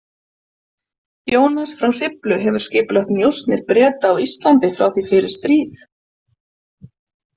Jónas frá Hriflu hefur skipulagt njósnir Breta á Íslandi frá því fyrir stríð.